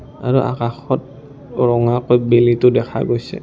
আৰু আকাশত ৰঙাকৈ বেলিটো দেখা গৈছে।